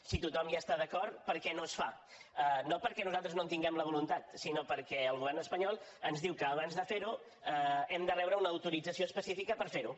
si tothom hi està d’acord per què no es fa no perquè nosaltres no en tinguem la voluntat sinó perquè el govern espanyol ens diu que abans de fer ho hem de rebre una autorització específica per fer ho